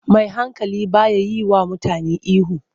Mai hankali ba ya yiwa mutane ihu.